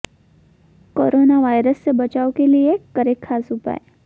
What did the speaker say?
corona virus से बचाव के लिए करें खास उपाय